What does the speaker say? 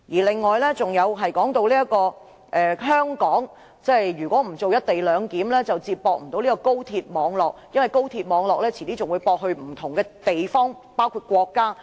此外，葉議員又提到如果香港不實行"一地兩檢"，便無法接駁高鐵網絡，因為高鐵遲些還會接駁到不同地方及國家。